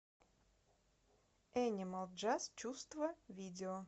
энимал джаз чувства видео